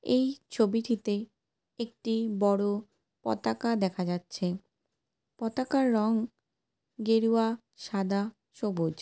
এই ছবিটিতে একটি বড় পতাকা দেখা যাচ্ছে। পতাকার রঙ গেরুয়া সাদা সবুজ।